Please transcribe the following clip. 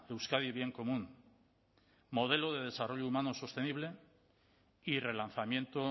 euskadi bien común modelo de desarrollo humano sostenible y relanzamiento